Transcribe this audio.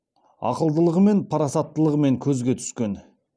ақылдылығымен парасаттылығымен көзге түскен